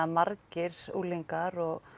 margir unglingar og